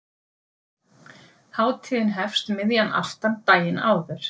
Hátíðin hefst um miðjan aftan daginn áður.